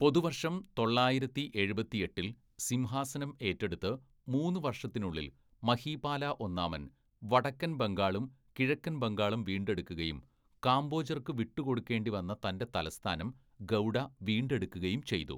പൊതുവര്‍ഷം തൊള്ളായിരത്തി എഴുപത്തിയെട്ടില്‍ സിംഹാസനം ഏറ്റെടുത്ത് മൂന്ന് വർഷത്തിനുള്ളിൽ മഹീപാല ഒന്നാമൻ വടക്കന്‍ ബംഗാളും കിഴക്കൻ ബംഗാളും വീണ്ടെടുക്കുകയും കാംബോജര്‍ക്ക് വിട്ടുകൊടുക്കേണ്ടിവന്ന തന്‍റെ തലസ്ഥാനം, ഗൗഡ വീണ്ടെടുക്കുകയും ചെയ്തു.